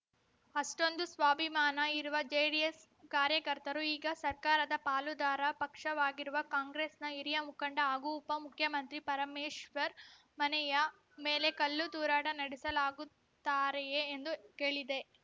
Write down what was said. ಅಷ್ಟೊಂದು ಸ್ವಾಭಿಮಾನ ಇರುವ ಜೆಡಿಎಸ್‌ ಕಾಯಕರ್ತರು ಈಗ ಸರ್ಕಾರದ ಪಾಲುದಾರ ಪಕ್ಷವಾಗಿರುವ ಕಾಂಗ್ರೆಸ್‌ನ ಹಿರಿಯ ಮುಖಂಡ ಹಾಗೂ ಉಪಮುಖ್ಯಮಂತ್ರಿ ಪರಮೇಶ್ವರ್‌ ಮನೆಯ ಮೇಲೆ ಕಲ್ಲು ತೂರಾಟ ನಡೆಸಲಾಗುತ್ತಾರೆಯೇ ಎಂದು ಕೇಳಿದೆ